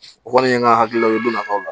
O kɔni ye n ka hakilila ye o donna nafaw la